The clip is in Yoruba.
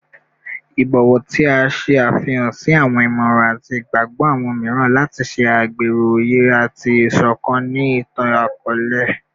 Ibọwọ ti a ṣe afihan si awọn imọran ati igbagbọ awọn miiran lati ṣe agbero oye ati isokan ni itan-akọọlẹ